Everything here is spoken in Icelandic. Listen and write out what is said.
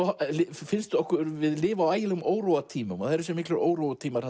finnst okkur við lifa á ægilegum óróatímum og það eru þessir miklu óróatímar